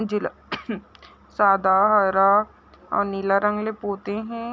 जिला सादा हरा आउ नीला रंग ले पोते हे।